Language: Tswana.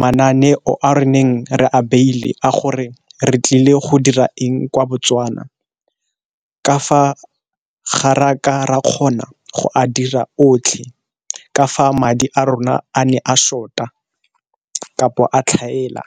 mananeo a re neng re a beile a gore re tlile go dira eng kwa Botswana, kafa gare a kgona go a dira otlhe ka fa madi a rona a ne a short-a kapo a tlhaela.